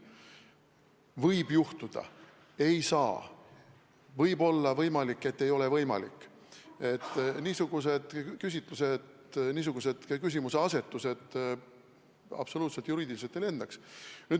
Võib juhtuda, et ei saa, võib olla võimalik, et ei ole võimalik – niisugused küsimuseasetused juriidiliselt absoluutselt ei lendaks.